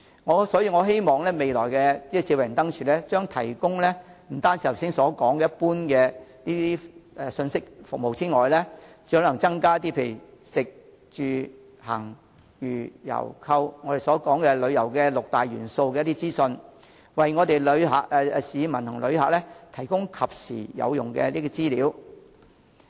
我希望未來的智慧燈柱除提供剛才所說的一般信息服務，更可提供當區食、住、行、娛、遊、購旅遊六大元素方面的資訊，為市民和旅客提供及時有用的資料。